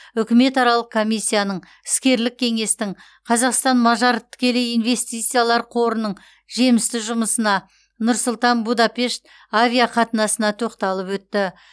үкіметаралық комиссияның іскерлік кеңестің қазақстан мажар тікелей инвестициялар қорының жемісті жұмысына нұр сұлтан будапешт авиақатынасына тоқталып өтті